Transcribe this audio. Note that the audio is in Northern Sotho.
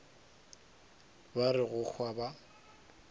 ba re go hwa ba